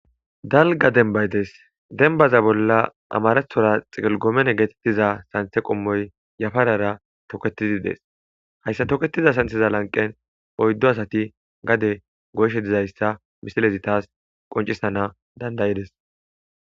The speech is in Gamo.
Dalgga dembay desi .Dembaza bolla amaratora xiqil gomen giza santhe qommoyi yafarara toketidi des.ha toketida santhaza lanqqen oyiddu asata gade goyishen tasi misile qoncisana danidayides.